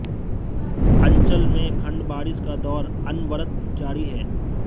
अंचल में खंड बारिश का दौर अनवरत जारी है